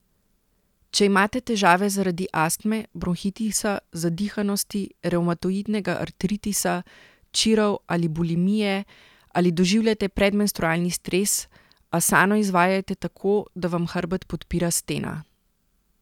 Če imate težave zaradi astme, bronhitisa, zadihanosti, revmatoidnega artritisa, čirov ali bulimije, ali doživljate predmenstrualni stres, asano izvajajte tako, da vam hrbet podpira stena.